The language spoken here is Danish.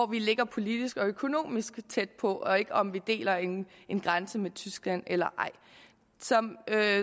vi ligger politisk og økonomisk tæt på og ikke om om vi deler en grænse med tyskland eller ej som